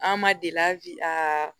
An ma deli abi aa